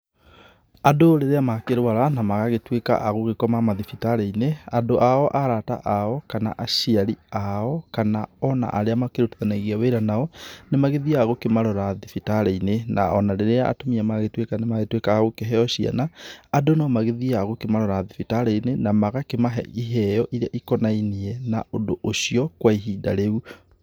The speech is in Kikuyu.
Andũ rĩrĩa makĩrwara na magagĩtuĩka a gũkoma mathibitarĩ-inĩ, andũ ao arata ao kana aciari ao kana ona arĩa makĩrutithanagia wĩra nao, nĩ mathiaga gũkĩmarora thibitarĩ-inĩ. Na ona rĩrĩa atumia magĩtuĩka nĩ magĩtuika akũheo ciana, andũ no magĩthiaga gũkĩmarora mathibitarĩ-inĩ na magakĩmahe iheo iria ikonainie na ũndũ ucio kwa ihinda rĩu.